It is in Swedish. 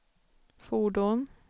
fordon